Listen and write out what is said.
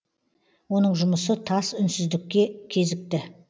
оның жұмысы тас үнсіздікке кезікті